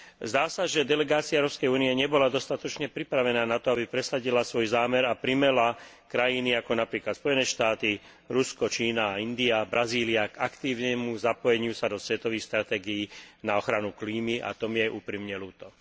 Zdá sa, že delegácia Ruskej únie nebola dostatočne pripravená na to, aby presadila svoj zámer a primäla krajiny, ako napríklad Spojené štáty, Rusko, Čína a India, Brazília, k aktívnemu zapojeniu sa do svetových stratégií na ochranu klímy, a to mi je úprimne ľúto.